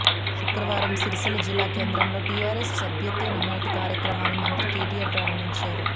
శుక్రవారం సిరిసిల్ల జిల్లా కేంద్రంలో టిఆర్ఎస్ సభ్యత్వ నమోదు కార్యక్రమాన్ని మంత్రి కెటిఆర్ ప్రారంభించారు